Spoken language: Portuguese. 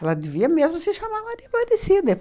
Ela devia mesmo se chamar Maria Aparecida.